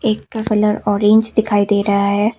एक का colour orange दिखाई दे रहा है।